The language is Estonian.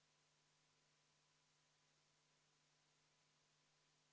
Praegu on eelnõus sätestatud, et see hakkab olema 250 eurot, kuigi varem see oli 45 eurot.